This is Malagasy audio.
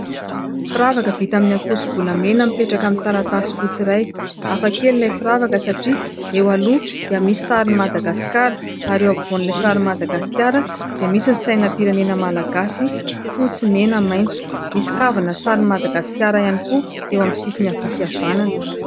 Firavaka vita amin'ny ankoso-bolamena mipetraka amin'ny taratasy fotsy iray. Hafakely ilay firavaka satria eo aloha dia misy sarin'i Madagasikara, ary eo ampovoan'ilay sarin'i madagaskara dia misy ny sainam-pirenena malagasy fotsy mena maintso. Misy kavina sarin'i Madagasikara ihany koa eo amin'ny sisiny havia sy havanana.